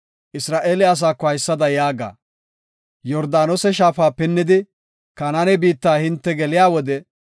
“Isra7eele asaako haysada yaaga; Yordaanose shaafa pinnidi, Kanaane biitta hinte geliya wode,